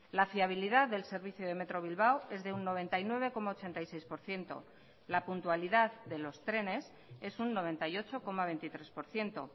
la fiabilidad del servicio de metro bilbao es de un noventa y nueve coma ochenta y seis por ciento la puntualidad de los trenes es un noventa y ocho coma veintitrés por ciento